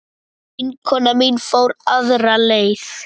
Vinkona mín fór aðra leið.